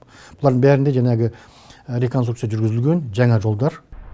бұлардың бәрінде жаңағы реконстуркция жүргізілген жаңа жолдар